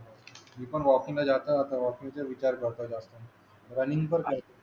मी पण वॉकिंग ला जातो आता वॉकिंग चा विचार करते आता रनिंग